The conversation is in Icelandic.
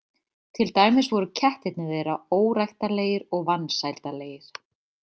Til dæmis voru kettirnir þeirra óræktarlegir og vansældarlegir.